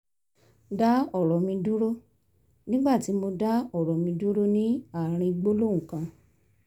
dá ọ̀rọ̀ mi dúró nígbà tí mo dá ọ̀rọ̀ mi dúró ní àárín gbólóhùn kan